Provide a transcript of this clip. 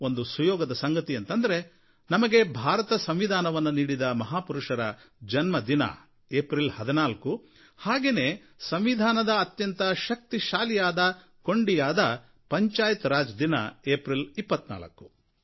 ಒಂದು ಸುಯೋಗದ ಸಂಗತಿ ಅಂತಂದ್ರೆ ನಮಗೆ ಭಾರತ ಸಂವಿಧಾನವನ್ನು ನೀಡಿದ ಮಹಾಪುರುಷರ ಜನ್ಮದಿನ ಏಪ್ರಿಲ್ 14 ಹಾಗೆನೇ ಸಂವಿಧಾನದ ಅತ್ಯಂತ ಶಕ್ತಿಶಾಲಿ ಕೊಂಡಿಯಾದ ಪಂಚಾಯತ್ ರಾಜ್ ದಿನ ಏಪ್ರಿಲ್ 24